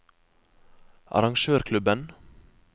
arrangørklubben